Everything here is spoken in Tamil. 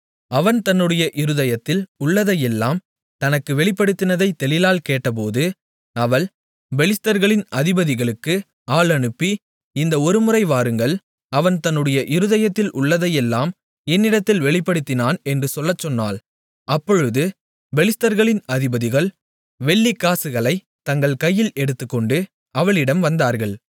அவன் தன்னுடைய இருதயத்தில் உள்ளதையெல்லாம் தனக்கு வெளிப்படுத்தினதை தெலீலாள் கேட்டபோது அவள் பெலிஸ்தர்களின் அதிபதிகளுக்கு ஆள் அனுப்பி இந்த ஒருமுறை வாருங்கள் அவன் தன்னுடைய இருதயத்தில் உள்ளதையெல்லாம் என்னிடத்தில் வெளிப்படுத்தினான் என்று சொல்லச்சொன்னாள் அப்பொழுது பெலிஸ்தர்களின் அதிபதிகள் வெள்ளிக்காசுகளைத் தங்கள் கையில் எடுத்துக்கொண்டு அவளிடம் வந்தார்கள்